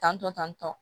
Tantɔ tan tɔ